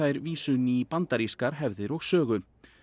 vísu í bandarískar hefðir og sögu